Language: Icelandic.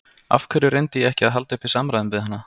Af hverju reyndi ég ekki að halda uppi samræðum við hana?